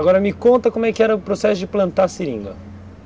Agora me conta como é que era o processo de plantar seringa.